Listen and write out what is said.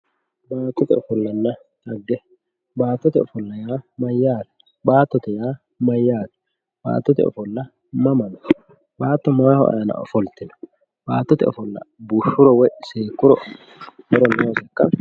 baattote ofollanna dhage baattote ofolla yaa mayyate baattote yaa mayyate baattoote ofolla mamma noo baatto mayi aana no baattote ofolla bushshuro woy seekkuro horo nooseikka